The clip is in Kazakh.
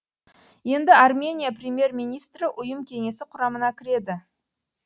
енді армения премьер министрі ұйым кеңесі құрамына кіреді